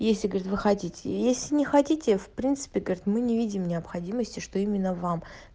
если говорит вы хотите если не хотите в принципе говорит мы не видим необходимости что именно вам